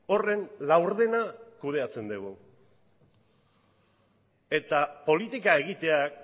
horren laurdena kudeatzen dugu eta politika egiteak